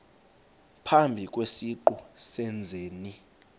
phambi kwesiqu sezenzi